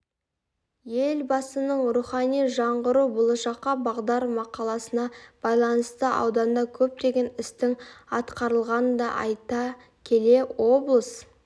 елбасының рухани жаңғыру болашаққа бағдар мақаласына байланысты ауданда көптеген істің атқарылғанын да айта келе облыс